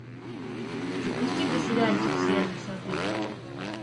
запусти ка сериальчик серые сады